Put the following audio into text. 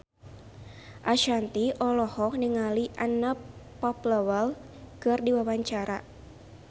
Ashanti olohok ningali Anna Popplewell keur diwawancara